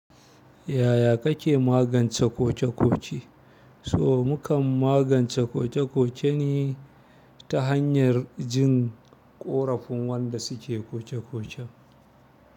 Yaya kake magance koke-koke? So mu kan magance koke-koke ne ta hanyar jin ƙorafin wanda suke koke-koken.